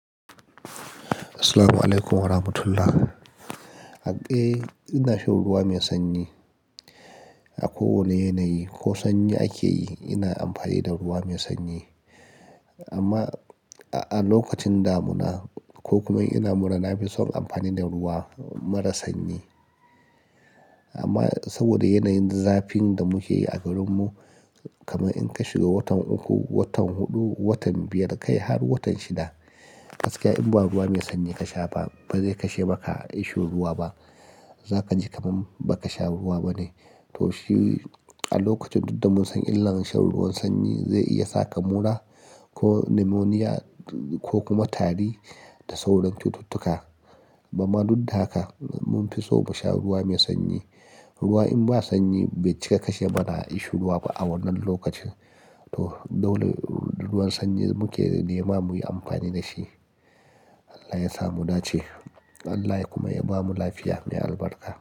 Assalamualaikum warahmatullahi. Eh ina shan ruwa mai sanyi a kowane yanayi. Ko sanyi ake yi, ina amfani da ruwa mai sanyi. Amma a lokacin damuna ko kuma in ina mura, na fi son amfani da ruwa mara sanyi. Amma saboda yanayin zafin da muke yi a garinmu, kamar in ka shiga watan uku, watan huɗu, watan biyar kai har watan shida, gaskiya in ba ruwa mai sanyi ka sha ba, ba zai kashe maka ishurwa ba. Za ka ji kamam ba ka sha ruwa bane. To shi a lokacin duk da mun san illa shan ruwan sanyi zai iya sa ka mura ko nimoniya ko kuma tari da sauran cututtuka. Bama duk da haka, mun fi so mu sha ruwa mai sanyi. Ruwa in ba sanyi bai cika kashe mana ishurwa ba a wannan lokacin. To dole ruwan sanyi muke nema muyi amfani da shi. Allah ya sa mu dace. Allah ya kuma ya bamu lafiya mai albarka.